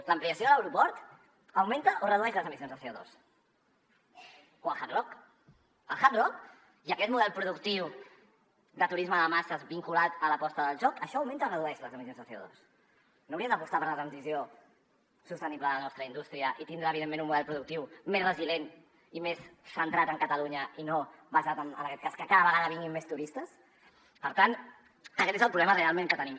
l’ampliació de l’aeroport augmenta o redueix les emissions de cohard rock i aquest model productiu de turisme de masses vinculat a l’aposta del joc això augmenta o redueix les emissions de cosició sostenible de la nostra indústria i per tindre evidentment un model productiu més resilient i més centrat en catalunya i no basat en aquest cas en que cada vegada vinguin més turistes per tant aquest és el problema realment que tenim